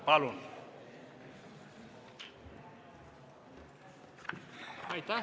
Palun!